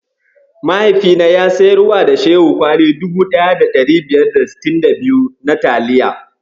Mahaifina ya siyarwa da Shehu kwali 1562 na taliya.